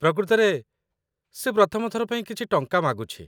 ପ୍ରକୃତରେ, ସେ ପ୍ରଥମ ଥର ପାଇଁ କିଛି ଟଙ୍କା ମାଗୁଛି